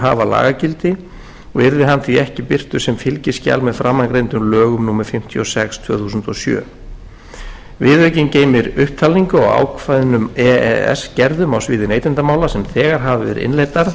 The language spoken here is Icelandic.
hafa lagagildi og yrði hann því ekki birtur sem fylgiskjal með framangreindum lögum númer fimmtíu og sex tvö þúsund og sjö viðaukinn geymir upptalningu á ákveðnum e e s gerðum á sviði neytendamála sem þegar hafa verið innleiddar